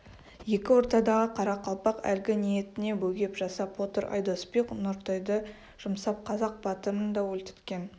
екі ортадағы қарақалпақ әлгі ниетіне бөгет жасап отыр айдос би нұртайды жұмсап қазақ батырын да өлтірткен